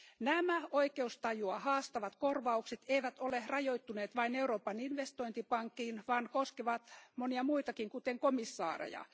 Nämä oikeustajua haastavat korvaukset eivät ole rajoittuneet vain Euroopan investointipankkiin, vaan koskevat monia muitakin, kuten komissaareja.